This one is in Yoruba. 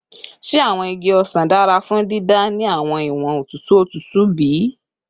Ṣe awọn igi osan dara fun dida ni awọn iwọn otutu otutu bi?